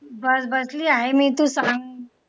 बस बसली आहे मी. तू सांग?